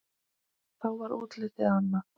Þá var útlitið annað.